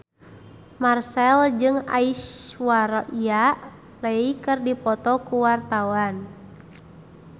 Marchell jeung Aishwarya Rai keur dipoto ku wartawan